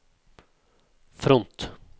front